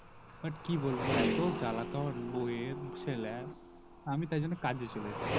but কি বলবো এতো জ্বালাতন আমার বৌয়ের ছেলের আমি তাই জন্য কাজ এ চলে এসেছি